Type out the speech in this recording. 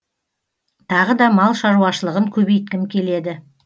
тағы да мал шаруашылығын көбейткім келеді